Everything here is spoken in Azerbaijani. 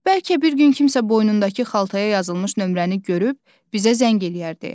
Bəlkə bir gün kimsə boynundakı xaltaya yazılmış nömrəni görüb bizə zəng eləyər deyə.